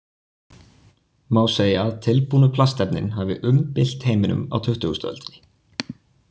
Má segja að tilbúnu plastefnin hafi umbylt heiminum á tuttugustu öldinni.